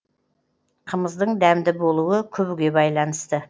қымыздың дәмді болуы күбіге байланысты